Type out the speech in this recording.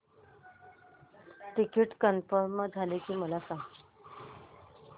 ticket confirm झाले की मला सांग